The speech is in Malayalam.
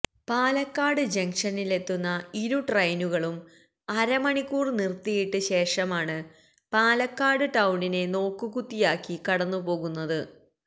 പാലക്കാട് ജംഗ്ഷനിലെത്തുന്ന ഇരു ട്രൈയിനുകളും അരമണിക്കൂര് നിര്ത്തിയിട്ട് ശേഷമാണ് പാലക്കാട് ടൌണിനെ നോക്കുകുത്തിയാക്കി കടന്നു പോകുന്നത്